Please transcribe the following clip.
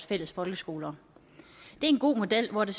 fælles folkeskoler det er en god model hvor det